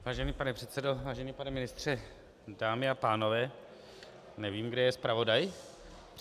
Vážený pane předsedo, vážený pane ministře, dámy a pánové, nevím, kde je zpravodaj.